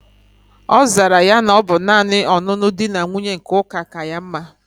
Ozara ya na obu nani onunu di na nwunye nke uka ka ya mma